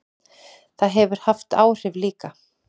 Það hefur haft áhrif líka.